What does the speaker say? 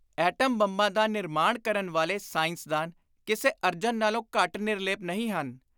Atom ਬੰਬਾਂ ਦਾ ਨਿਰਮਾਣ ਕਰਨ ਵਾਲੇ ‘ਸਾਇੰਸਦਾਨ’ ਕਿਸੇ ਅਰਜਨ ਨਾਲੋਂ ਘੱਟ ਨਿਰਲੇਪ ਨਹੀਂ ਹਨ।